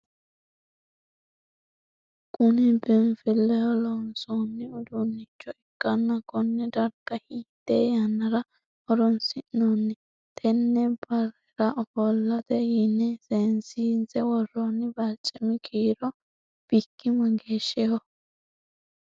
Kunni biinfileho loonsoonni uduunicho ikanna konne darga hiite yannara horoonsi'nanni? Tene barera ofollate yinne seesiinse woroonni barcimi kiiro Biki mageeshiho?